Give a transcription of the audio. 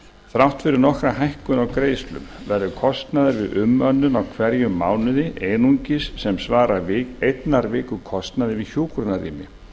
þrátt fyrir nokkra hækkun á greiðslum verður kostnaður við umönnun í hverjum mánuði einungis sem svarar einnar viku kostnaði við hjúkrunarrými